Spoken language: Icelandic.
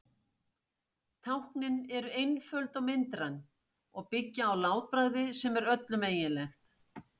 Táknin eru einföld og myndræn og byggja á látbragði sem er öllum eiginlegt.